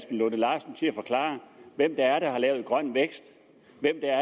lunde larsen til at forklare hvem der har lavet grøn vækst